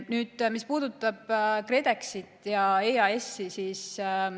Nüüd sellest, mis puudutab KredExit ja EAS-i.